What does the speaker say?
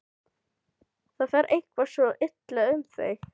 Það fer eitthvað svo illa um þig.